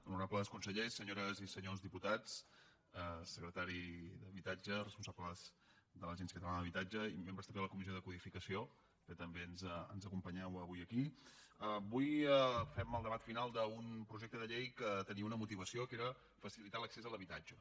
honorables consellers senyores i senyors diputats secretari d’habitatge responsables de l’agència catalana de l’habitatge i membres també de la comissió de codificació que també ens acompanyeu avui aquí avui fem el debat final d’un projecte de llei que tenia una motivació que era facilitar l’accés a l’habitatge